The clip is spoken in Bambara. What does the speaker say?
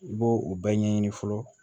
I b'o o bɛɛ ɲɛɲini fɔlɔ